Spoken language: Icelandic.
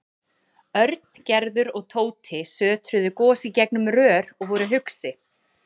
Örn, Gerður og Tóti sötruðu gos í gegnum rör og voru hugsi.